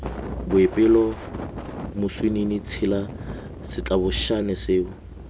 boipelo moswinini tshela setlabošane seo